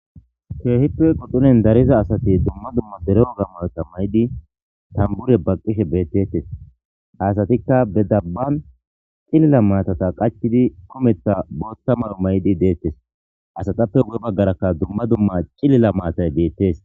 Keehippe quxuren dariza asati dumma dumma dere woga mayota mayid tambure baqishe betetes, ha asatika be daban cilila maatata qachid kumetha bootha mayo mayid de'etes, ha asatappe guye bagraka dumma dumma cilila matay betes